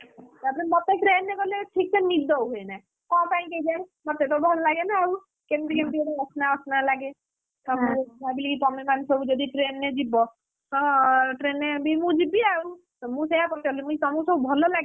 ତାପରେ ମତେ train ରେ ଗଲେ ଠିକ୍ ସେ ନିଦ ହୁଏନା, କଣ ପାଇଁ କେଜାଣି? ମତେ ତ ଭଲ ଲାଗେନା ଆଉ, କେମିତି କେମିତି ଗୋଟେ ଅସନା ଅସନା ଲାଗେ, ଭାବିଲି କି ତମେ ମାନେ ସବୁ ଯଦି train ରେ ଯିବ ହଁ train ରେ ବି ମୁଁ ଯିବି ଆଉ, ମୁଁ ସେୟା ପଚାରିଲି ତମେ ସବୁକୁ ଭଲ ଲାଗେ କି?